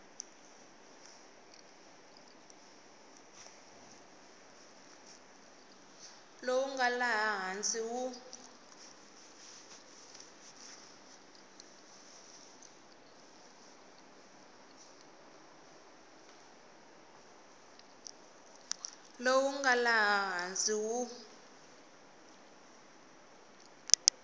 lowu nga laha hansi wu